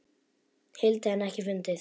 hildi en ekkert fundið.